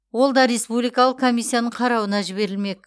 ол да республикалық комиссияның қарауына жіберілмек